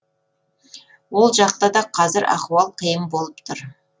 ол жақта да қазір ахуал қиын болып тұр